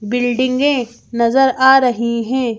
बिल्डिंगें नजर आ रही हैं।